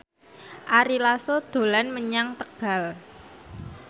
Ari Lasso dolan menyang Tegal